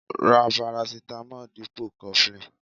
Ra parasitamo dipo cofflin.